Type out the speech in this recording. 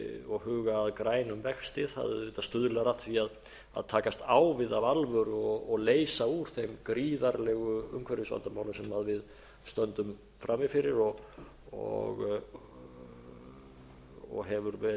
og huga að grænum vexti stuðlar auðvitað að því að takast á við af alvöru og leysa úr þeim gríðarlegu umhverfisvandamálum sem við stöndum frammi fyrir og hefur verið